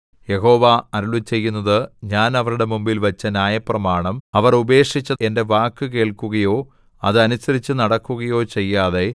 യഹോവ അരുളിച്ചെയ്യുന്നത് ഞാൻ അവരുടെ മുമ്പിൽ വച്ച ന്യായപ്രമാണം അവർ ഉപേക്ഷിച്ച് എന്റെ വാക്കു കേൾക്കുകയോ അത് അനുസരിച്ചു നടക്കുകയോ ചെയ്യാതെ